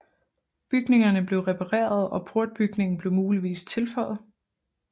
Bygningerne blev repareret og portbygningen blev muligvis tilføjet